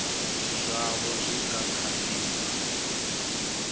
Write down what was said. zwaho zwi nga kha di